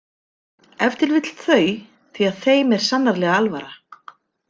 Ef til vill þau því að þeim er sannarlega alvara.